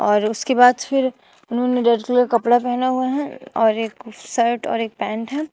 और उसके बाद फिर उन्होंने रेड कलर का कपड़ा पहना हुआ है और एक शर्ट और एक पैंट है।